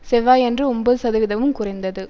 செவ்வாயன்று ஒம்பது சதவீதமும் குறைந்தது